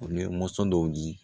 U ye mɔnsɔn dɔw di